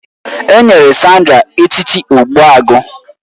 A